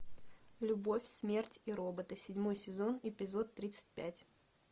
любовь смерть и роботы седьмой сезон эпизод тридцать пять